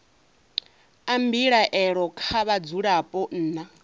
a mbilaelo kha vhadzulapo nna